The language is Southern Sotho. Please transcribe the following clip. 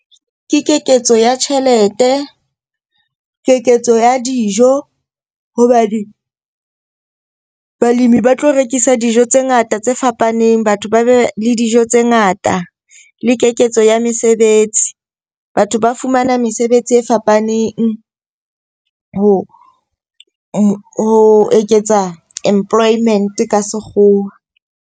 Ke keketso ya tjhelete, keketso ya dijo hobane balemi ba tlo rekisa dijo tse ngata tse fapaneng. Batho ba be le dijo tse ngata le keketso ya mesebetsi. Batho ba fumana mesebetsi e fapaneng ho eketsa employment ka sekgowa.